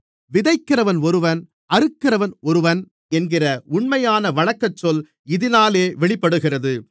விதைக்கிறவன் ஒருவன் அறுக்கிறவன் ஒருவன் என்கிற உண்மையான வழக்கச்சொல் இதினாலே வெளிப்படுகிறது